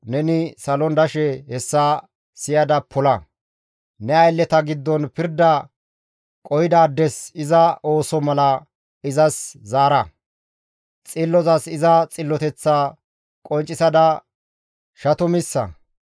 neni salon dashe hessa siyada pola; ne aylleta giddon pirda qohidaades iza ooso mala izas zaara; xillozas iza xilloteththaa qonccisada shatumissa.